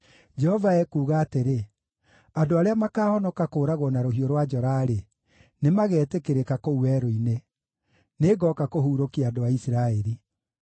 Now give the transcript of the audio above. Jehova ekuuga atĩrĩ: “Andũ arĩa makaahonoka kũũragwo na rũhiũ rwa njora-rĩ, nĩmagetĩkĩrĩka kũu werũ-inĩ; nĩngooka kũhuurũkia andũ a Isiraeli.”